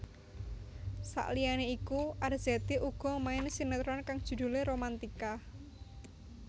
Saliyane iku Arzetti uga main sinetron kang judhulé Romantika